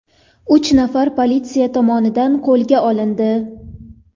Uch nafari politsiya tomonidan qo‘lga olindi .